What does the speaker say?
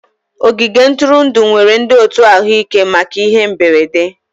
Ogige ntụrụndụ nwere ndị otu ahụike maka ihe mberede